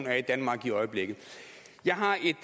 er i danmark i øjeblikket jeg har et